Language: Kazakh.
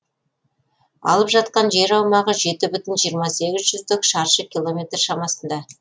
алып жатқан жер аумағы жеті бүтін жиырма сегіз жүздік шаршы километр шамасында